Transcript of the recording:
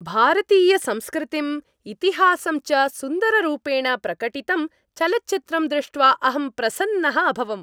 भारतीयसंस्कृतिं, इतिहासं च सुन्दररूपेण प्रकटितं चलच्चित्रं दृष्ट्वा अहं प्रसन्नः अभवम्।